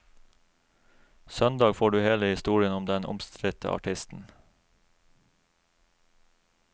Søndag får du hele historien om den omstridte artisten.